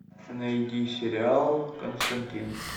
найди сериал константин